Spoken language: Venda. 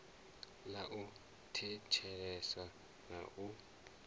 ḽa u thetshelesa na u